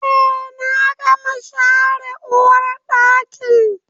Eh na gama share uwarɗakin